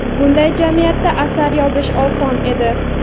bunday jamiyatda asar yozish oson edi.